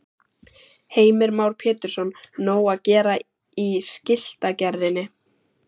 Heimir Már Pétursson: Nóg að gera í skiltagerðinni?